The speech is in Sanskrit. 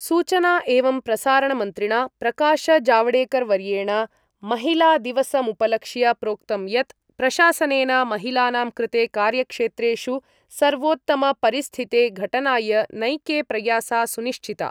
सूचना एवं प्रसारणमन्त्रिणा प्रकाशजावडेकरवर्येण महिलादिवसमुपलक्ष्य प्रोक्तं यत् प्रशासनेन महिलानां कृते कार्यक्षेत्रेषु सर्वोत्तमपरिस्थिते घटनाय नैके प्रयासा सुनिश्चिता।